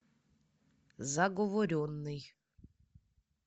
заговоренный